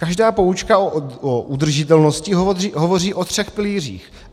Každá poučka o udržitelnosti hovoří o třech pilířích.